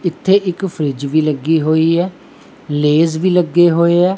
ਇਥੇ ਇੱਕ ਫਰਿੱਜ ਵੀ ਲੱਗੀ ਹੋਈਆ ਲੇਜ਼ ਵੀ ਲੱਗੇ ਹੋਏ ਹੈ।